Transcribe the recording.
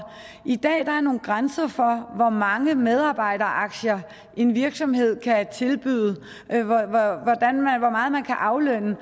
i dag er der nogle grænser for hvor mange medarbejderaktier en virksomhed kan tilbyde og hvor meget man kan aflønne